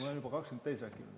Aa, kas juba on 20 minutit täis?